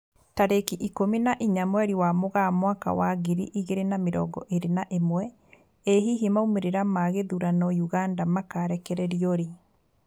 Tarĩki ikũmi na inya mweri wa Mũgaa mwaka wa ngiri igĩri na mĩrongo ĩri na ĩmwe, ĩ hihi maumĩrĩra ma gĩthurano Uganda makarekererio rĩ?